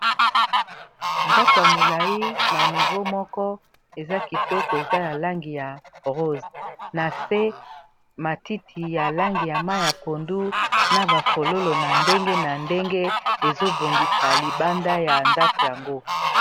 Ndako ya molai na nivo moko eza kitoko eza na langi ya rose na se matiti ya langi ya ma ya pondu, na bafololo na ndenge na ndenge ezobongisa libanda ya ndako yango.